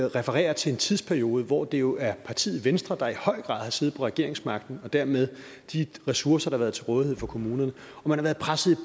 refererer til en tidsperiode hvor det jo er partiet venstre der i høj grad har siddet på regeringsmagten og dermed de ressourcer der har været til rådighed for kommunerne man har været presset